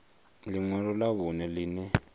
ḽi ṅwalo ḽa vhuṋe ḽine